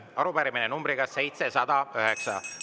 Arupärimine numbriga 709.